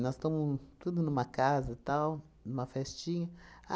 Nós estamos tudo numa casa e tal, numa festinha.